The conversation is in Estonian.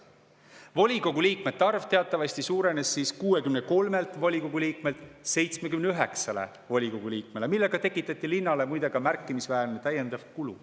Volikogu liikmete arv suurenes teatavasti 63‑lt 79‑le, millega tekitati linnale, muide, ka märkimisväärne täiendav kulu.